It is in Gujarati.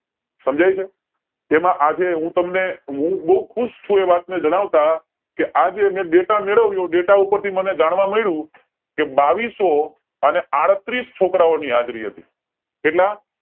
સમજાય છે તેમાં આજે હું તમને હૂ બોવ ખુશ છું એ વાત ને જણાવતા કે આજે મે data મેળવ્યો અને એ data ઉપર થી જાણવા મળ્યું કે બાવીસો આડત્રીસ છોકારોની હાજરી હતી